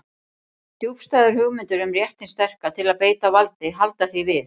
Djúpstæðar hugmyndir um rétt hins sterka til að beita valdi halda því við.